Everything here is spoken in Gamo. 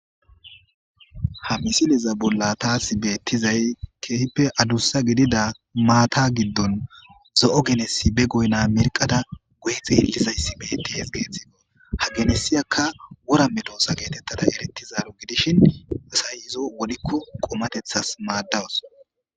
ha misileza bolla taasi beettizay keehippe adussa gidida maata giddon zo7o genesi be goyna mirqada guyi xeellizayssi bettihes geeththigo ha genesiyakka wora metoosa geetettada erettizaaro gidishin asayizo wodikko qomatethas maaddawus